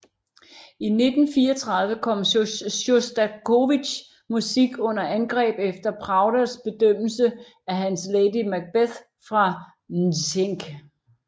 I 1934 kom Sjostakovitjs musik under angreb efter Pravdas fordømmelse af hans Lady Macbeth fra Mtsensk